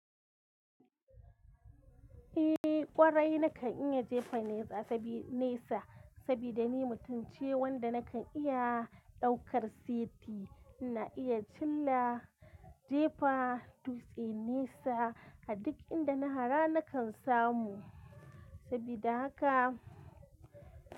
Eh ƙwarai nakan iya jefa nesa sabida ni mutumce wanda nakan iya ɗaukar seti, ina iya cilla, jefa dutse nesa a duk inda na hara nakan samu. Sabida haka.